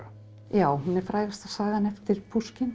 já hún er frægasta sagan eftir